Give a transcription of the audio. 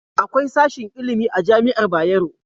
Akwai sashin ilimi a Jami'ar Bayero.